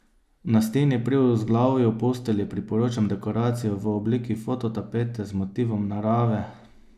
Na steni pri vzglavju postelje priporočam dekoracijo v obliki fototapete z motivom narave.